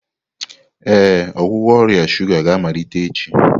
Ee, ọgwụgwọ ọrịa shuga ga-amalite echi.